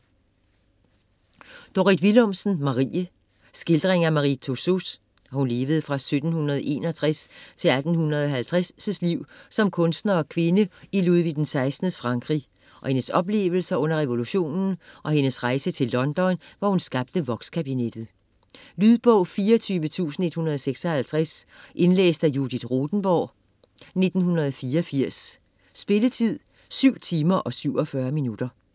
Willumsen, Dorrit: Marie Skildring af Marie Tussauds (1761-1850) liv som kunstner og kvinde i Ludvig XVI's Frankrig, af hendes oplevelser under revolutionen og af hendes rejse til London, hvor hun skabte vokskabinettet. Lydbog 24156 Indlæst af Judith Rothenborg, 1984. Spilletid: 7 timer, 47 minutter.